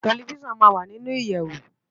Tèlifisán má n wá ninú iyèwó